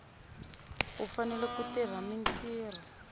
u fanele ku tirha mintirho